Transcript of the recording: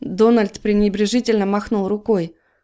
дональд пренебрежительно махнул рукой